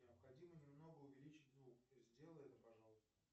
необходимо немного увеличить звук сделай это пожалуйста